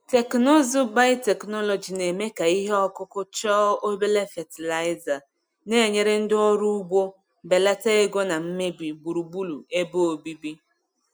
Teknụzụ biotechnology na-eme ka ihe ọkụkụ chọọ obere fatịlaịza, na-enyere ndị ọrụ ugbo belata ego na mmebi gburugburu ebe obibi.